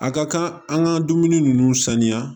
A ka kan an ka dumuni ninnu sanuya